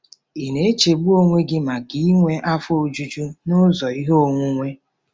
Ị na-echegbu onwe gị maka inwe afọ ojuju nụzọ ihe onwunwe?